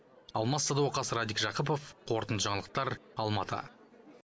алмас садуақас радик жақыпов қорытынды жаңалықтар алматы